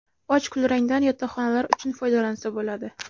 Och kulrangdan yotoqxonalar uchun foydalansa bo‘ladi.